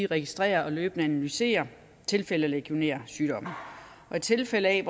registrerer og løbende analyserer tilfælde af legionærsygdommen og i tilfælde af